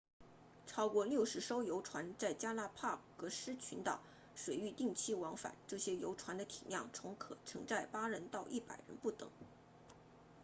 超过60艘游船在加拉帕戈斯群岛 galapagos 水域定期往返这些游船的体量从可承载8人到100人不等